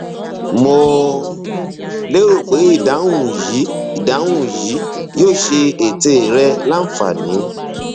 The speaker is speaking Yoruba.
mo lérò pé ìdáhùn yìí ìdáhùn yìí yóò ṣe ète rẹ láǹfààní